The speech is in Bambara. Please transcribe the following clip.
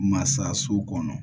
Masa so kɔnɔ